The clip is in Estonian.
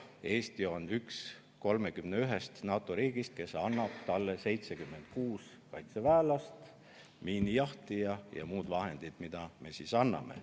Eesti on üks 31-st NATO riigist, kes annab talle 76 kaitseväelast, miinijahtija ja muud vahendid.